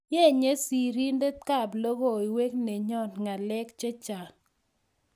yinye serinte kab logoiwek nenyoo ngalek chechang.